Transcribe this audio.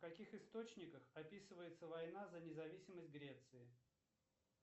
в каких источниках описывается война за независимость греции